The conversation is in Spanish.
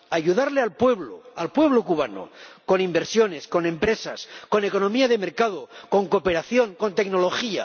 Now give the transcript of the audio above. Ayudar al pueblo, al pueblo cubano, con inversiones, con empresas, con economía de mercado, con cooperación, con tecnología.